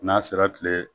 N'a sera kile